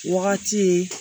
Wagati ye